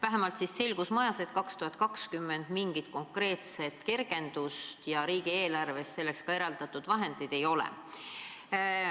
Vähemalt on selgus majas, et 2020 mingit konkreetset kergendust ei tule ja riigieelarves ka vahendeid ei ole.